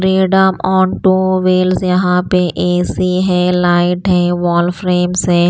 Freedom on two wheels यहाँ पे A_ C_ है लाइट है वॉल फ्रेम्स है।